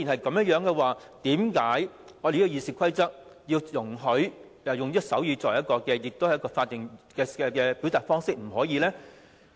既然如此，為何《議事規則》不容許議員使用手語這種法定表達方式發言呢？